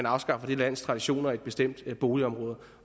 afskaffe det lands traditioner i et bestemt boligområde